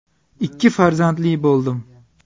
Ikki farzandli bo‘ldim.